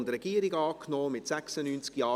/ Regierungsrat Antrag